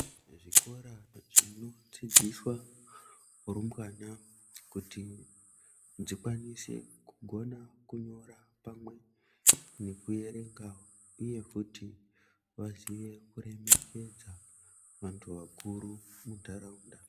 Zvikora zvinodzidziswa rumbwana kuti dzikwanise kugona kunyora pamwe nekuerenga uye kuti vaziye kuremekedza vantu vakuru muntaraunda.